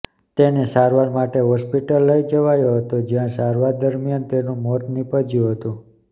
તેને સારવાર માટે હોસ્પિટલ લઇ જવાયો હતો જ્યાં સારવાર દરમિયાન તેનું મોત નીપજ્યું હતું